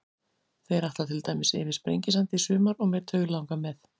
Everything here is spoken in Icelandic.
Þeir ætla til dæmis yfir Sprengisand í sumar og mig dauðlangar með.